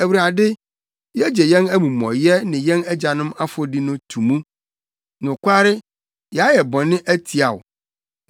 Awurade, yegye yɛn amumɔyɛ ne yɛn agyanom afɔdi to mu; nokware, yɛayɛ bɔne atia wo.